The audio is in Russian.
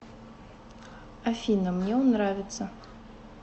афина мне он нравится